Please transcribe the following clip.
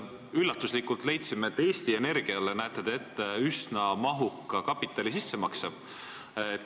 Üllatuslikult leidsime, et te näete Eesti Energiale ette üsna mahuka kapitali sissemakse.